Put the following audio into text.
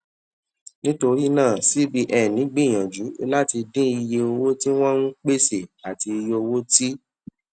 nítorí náà cbn gbìyànjú láti dín iye owó tí wọn ń pèsè àti iye owó tí